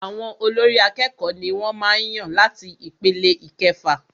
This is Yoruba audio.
Àwọn olórí àkẹ́kọ̀ọ ní wọ́n màá n yàn láti ipele ìkẹfà.